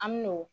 An min'o